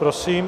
Prosím.